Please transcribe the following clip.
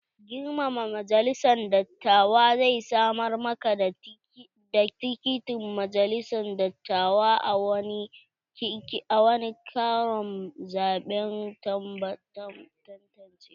Girmama majalisan dattawa zai samar ma ka da tikitin majalisan dattawa a wani karon zaɓen tantancewa.